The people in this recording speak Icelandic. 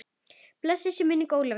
Blessuð sé minning Ólafíu.